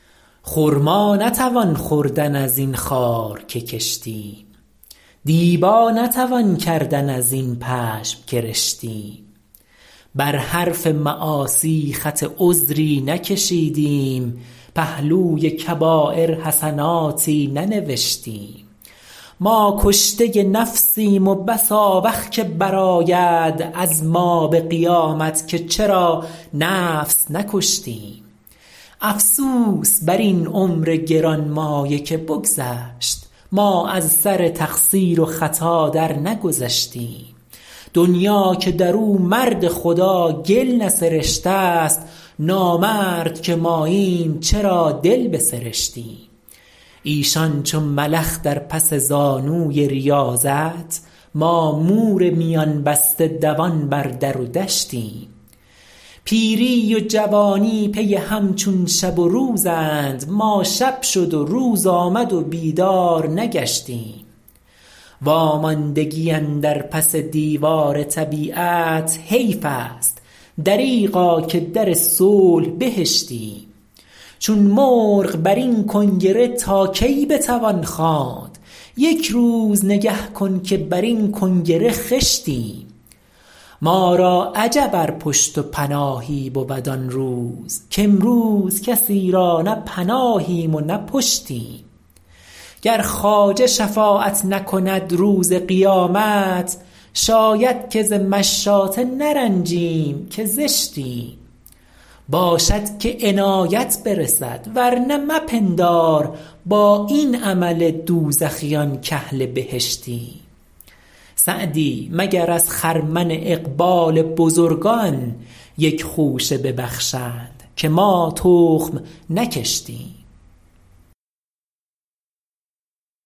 خرما نتوان خوردن از این خار که کشتیم دیبا نتوان کردن از این پشم که رشتیم بر حرف معاصی خط عذری نکشیدیم پهلوی کبایر حسناتی ننوشتیم ما کشته نفسیم و بس آوخ که برآید از ما به قیامت که چرا نفس نکشتیم افسوس بر این عمر گرانمایه که بگذشت ما از سر تقصیر و خطا درنگذشتیم دنیا که در او مرد خدا گل نسرشته ست نامرد که ماییم چرا دل بسرشتیم ایشان چو ملخ در پس زانوی ریاضت ما مور میان بسته دوان بر در و دشتیم پیری و جوانی پی هم چون شب و روزند ما شب شد و روز آمد و بیدار نگشتیم واماندگی اندر پس دیوار طبیعت حیف است دریغا که در صلح بهشتیم چون مرغ بر این کنگره تا کی بتوان خواند یک روز نگه کن که بر این کنگره خشتیم ما را عجب ار پشت و پناهی بود آن روز کامروز کسی را نه پناهیم و نه پشتیم گر خواجه شفاعت نکند روز قیامت شاید که ز مشاطه نرنجیم که زشتیم باشد که عنایت برسد ورنه مپندار با این عمل دوزخیان کاهل بهشتیم سعدی مگر از خرمن اقبال بزرگان یک خوشه ببخشند که ما تخم نکشتیم